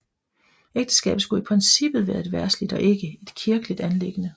Ægteskabet skulle i princippet være et verdsligt og ikke et kirkeligt anliggende